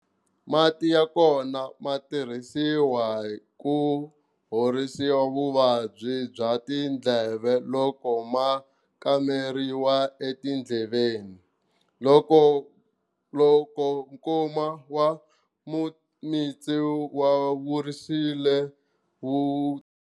Mati ya kona ma tirhisiwa ku horisiwa vuvabyi bya tindleve loko ma kameriwa etindleveni. Loko nkuma wa mimitsu wa vurisile.